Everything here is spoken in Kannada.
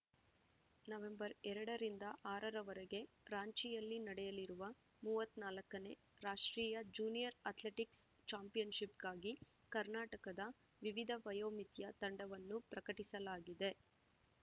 ನವೆಂಬರ್ ಎರಡ ರಿಂದ ಆರರವರೆಗೆ ರಾಂಚಿಯಲ್ಲಿ ನಡೆಯಲಿರುವ ಮೂವತ್ತ್ ನಾಲ್ಕನೇ ರಾಷ್ಟ್ರೀಯ ಜೂನಿಯರ್‌ ಅಥ್ಲೆಟಿಕ್ಸ್‌ ಚಾಂಪಿಯನ್‌ಶಿಪ್‌ಗಾಗಿ ಕರ್ನಾಟಕದ ವಿವಿಧ ವಯೋಮಿತಿಯ ತಂಡವನ್ನು ಪ್ರಕಟಿಸಲಾಗಿದೆ